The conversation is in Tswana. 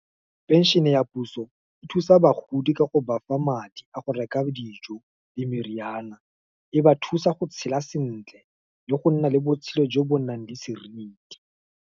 Pension-e ya puso, e thusa bagodi ka go bafa madi a go reka dijo, le meriana. E ba thusa go tshela sentle, le go nna le botshelo jo bo nang le seriti.